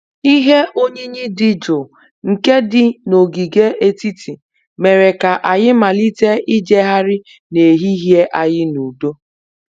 Ihe oyiyi dị jụụ nke dị n'ogige etiti mere ka anyị malite ịjegharị n'ehihie anyị n'udo